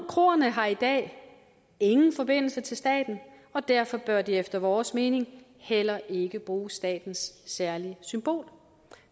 kroerne har i dag ingen forbindelse til staten og derfor bør de efter vores mening heller ikke bruge statens særlige symbol